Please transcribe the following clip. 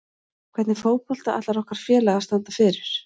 Hvernig fótbolta ætlar okkar félag að standa fyrir?